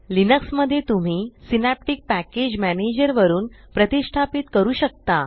Linux मध्ये तुम्ही Synaptic package manager वरुन प्रतिष्ठापीत करू शकता